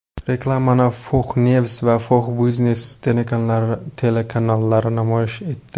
Reklamani Fox News va Fox Business telekanallari namoyish etdi.